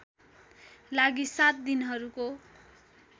लागि सात दिनहरूको